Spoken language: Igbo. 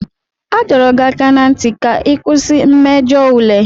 A dọrọ gị aka ná ntị ka ị kwụsị mmejọ ule.